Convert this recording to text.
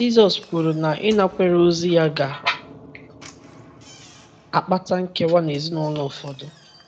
Jizọs kwuru na ịnakwere ozi ya ga - akpata nkewa n’ezinụlọ ụfọdụ.